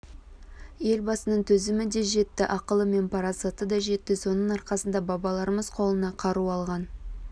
елбасының төзімі де жетті ақылы мен парасаты да жетті соның арқасында бабаларымыз қолына қару алған